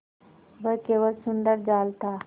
वह केवल सुंदर जाल था